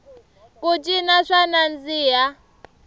ku cina swa nandziha